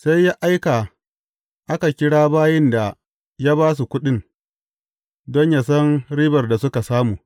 Sai ya aika aka kira bayin da ya ba su kuɗin, don yă san ribar da suka samu.